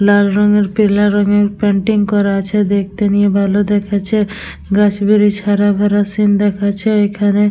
লাল রঙের পিলা রঙের পেইন্টিং করা আছে দেখতে গিয়ে ভালো দেখছে। গাছ ব্রিচ হারা বারা সিন্ দেখছে এখানে।